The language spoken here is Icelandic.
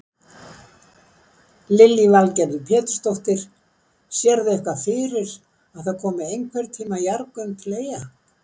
Lillý Valgerður Pétursdóttir: Sérðu eitthvað fyrir að það komi einhvern tíman jarðgöng til Eyja?